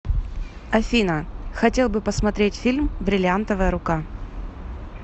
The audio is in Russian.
афина хотел бы посмотреть фильм бриллиантовая рука